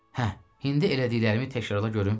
Hə, indi elədiklərimi təkrarla görüm.